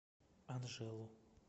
анжелу